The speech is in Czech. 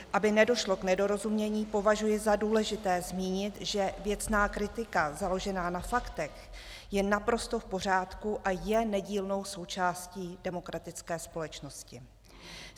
Aby nedošlo k nedorozumění, považuji za důležité zmínit, že věcná kritika založená na faktech je naprosto v pořádku a je nedílnou součástí demokratické společnosti.